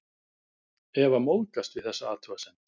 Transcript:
Eva móðgast við þessa athugasemd.